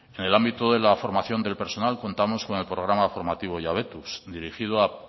en el ámbito de la formación del personal contamos con el programa formativo jabetuz dirigido a